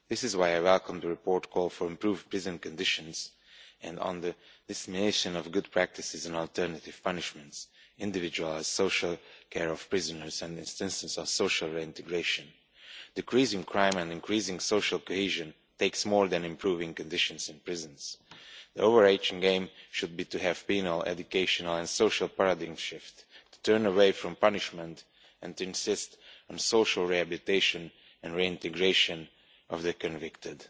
This is why I welcome the report's call for improved prison conditions and dissemination of good practices and alternative punishments, individual social care of prisoners and insistence on social reintegration. Decreasing crime and increasing social cohesion takes more than improving conditions in prisons. The overarching aim should be to have a penal, educational and social paradigm shift, to turn away from punishment and to insist on the social rehabilitation and reintegration of the convicted.